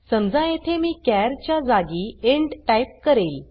समजा येथे मी चार च्या जागी इंट टाइप करेल